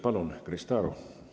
Palun, Krista Aru!